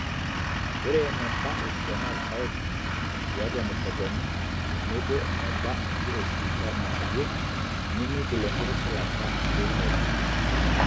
ore eneba esiana orpaek etiii atua imushakuani tenebo eneba enkiroshi oolang'anayio nemeing'ial enkitusulata eunore.